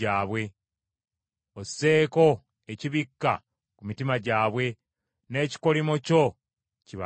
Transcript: Osseeko ekibikka ku mitima gyabwe, n’ekikolimo kyo kibabeereko.